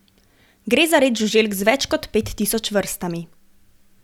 Gre za red žuželk z več kot pet tisoč vrstami.